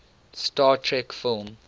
star trek film